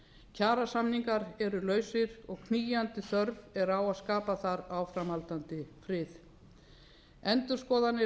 kjarasamningar eru lausir og knýjandi þörf er á að skapa þar áframhaldandi frið endurskoðanir